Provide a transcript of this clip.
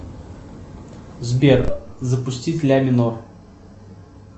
сбер запустить ля минор